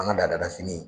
An ka laada fini